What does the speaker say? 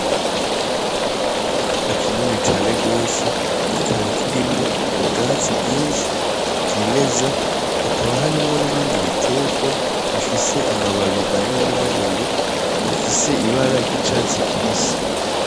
Ikibanza kinini cane gose, kikaba kirimwo ubwatsi bwinshi bwimeza, hakaba harimwo n'ibindi bitegwa bifise amababi manini manini afise ibara ry'icatsi kibisi.